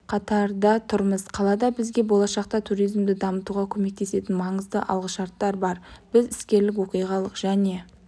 қатарда тұрмыз қалада бізге болашақта туризмді дамытуға көмектесетін маңызды алғышарттар бар біз іскерлік оқиғалық және